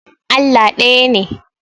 Allah ɗaya ne.